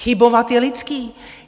Chybovat je lidské.